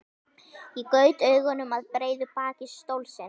Ég gaut augum að breiðu baki stólsins.